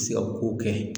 Se ka kow kɛ